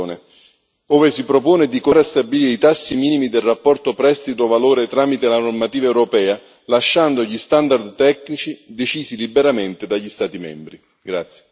Concordo con la relazione ove propone di continuare a stabilire i tassi minimi del rapporto prestito valore tramite la normativa europea, lasciando che gli standard tecnici siano decisi liberamente dagli Stati membri.